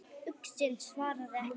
Uxinn svaraði ekki.